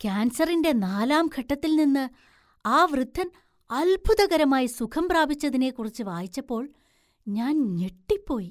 കാൻസറിന്‍റെ നാലാം ഘട്ടത്തിൽ നിന്ന് ആ വൃദ്ധന്‍ അത്ഭുതകരമായി സുഖം പ്രാപിച്ചതിനെക്കുറിച്ച് വായിച്ചപ്പോൾ ഞാൻ ഞെട്ടിപ്പോയി.